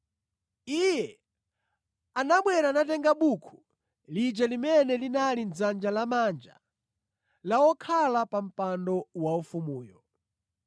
Iye anabwera natenga buku lija limene linali mʼdzanja lamanja la wokhala pa mpando waufumuyo.